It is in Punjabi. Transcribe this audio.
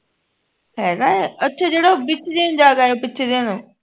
ਹੈਗਾ ਏ ਅੱਛਾ ਜਿਹੜਾ ਉਹ ਵਿੱਚ ਜੇ ਨੂੰ ਜਾ ਕੇ ਆ ਪਿੱਛੇ ਜੇ ਨੂੰ